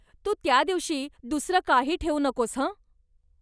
तू त्या दिवशी दुसरं काही ठेवू नकोस हं.